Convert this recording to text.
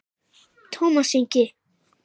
Tómas Ingi.